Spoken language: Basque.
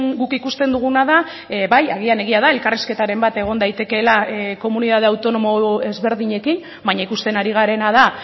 guk ikusten duguna da bai agian egia da elkarrizketaren bat egon daitekeela komunitate autonomo ezberdinekin baina ikusten ari garena da